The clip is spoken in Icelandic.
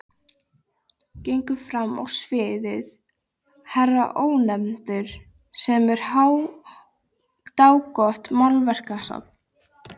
Gengur fram á sviðið herra Ónefndur sem á dágott málverkasafn.